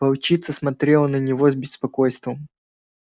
волчица смотрела на него с беспокойством